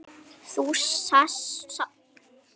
Þú sást þó Bárð?